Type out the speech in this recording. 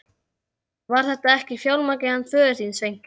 Var þetta ekki fjármarkið hans föður þíns, Sveinki?